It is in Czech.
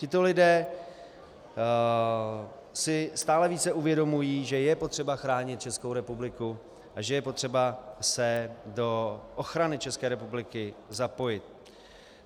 Tito lidé si stále více uvědomují, že je potřeba chránit Českou republiku a že je potřeba se do ochrany České republiky zapojit.